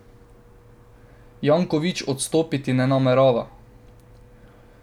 Janković odstopiti ne namerava.